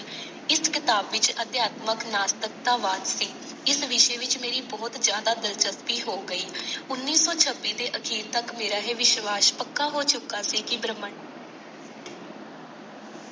ਇਸ ਕਿਤਾਬ ਵਿਚ ਅਧਿਆਤਮਕ ਨਾਸਤਿਕ ਵਾਦ ਸੀ। ਇਸ ਵਿਸ਼ੇ ਮੇਰੀ ਬਹੁਤ ਜ਼ਿਆਦਾ ਦਿਲਚਸਪੀ ਹੋ ਗਈ। ਉਨੀ ਸੌ ਛਬੀ ਦੇ ਅਖੀਰ ਤੱਕ ਮੇਰਾ ਇਹ ਵਿਸ਼ਵਾਸ਼ ਪੱਕਾ ਹੋ ਚੁੱਕਾ ਸੀ ਕਿ ਬ੍ਰਹਿਮੰਡ।